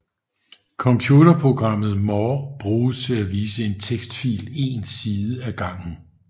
Computerprogrammet more bruges til at vise en tekstfil en side af gangen